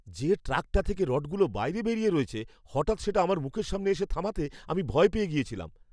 যে ট্রাকটা থেকে রডগুলো বাইরে বেরিয়ে রয়েছে, হঠাৎ সেটা আমার মুখের সামনে এসে থামাতে আমি ভয় পেয়ে গিয়েছিলাম।